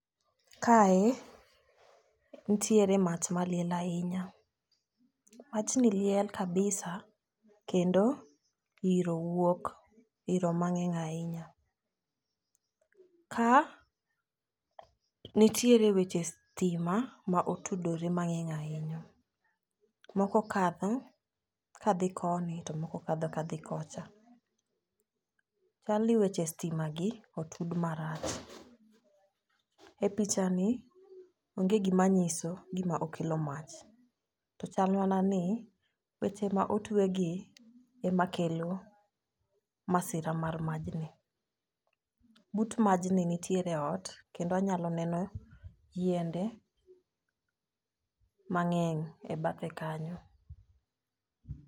Kae, nitiere mach maliel ahinya. Machni liel kabisa, kendo yiro wuok, yiro mang'eny ahinya. Ka, nitiere weche stima ma otudore mang'eny ahinya. Moko kadho kadhi koni to moko kadho kadhi kocha. Chalni weche stimagi otud marach. E pichani, onge gi ma nyiso gi ma okello mach. To chal mana ni, weche ma otwegi, emakelo, masira mar majni. But majni nitiere ot kendo anyalo neno, yiende, mang'eny e bathe kanyo.